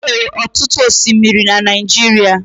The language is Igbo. Enwere ọtụtụ osimiri na Naijiria